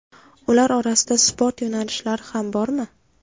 Ular orasida sport yo‘nalishlari ham bormi?